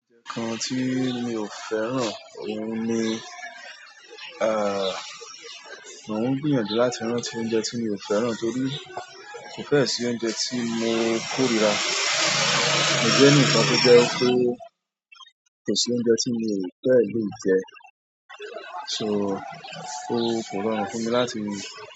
Òun kan tí mi ò fẹ́ràn òun ni, à, mò ń gbìyànjú láti rán tí oúnjẹ tí mi ò fẹ́ràn torí kò fẹ́ẹ̀ sí oúnjẹ tí mo kórira. Mo jẹ́ ẹnìkan tó jẹ́ pé kò sí oúnjẹ tí mi ò fẹ́ẹ̀ lè jẹ, so kò rọrùn fún mi láti.